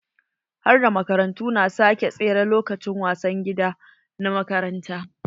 Harda makarantu na sake tsere lokacin wasan gida na makaranta.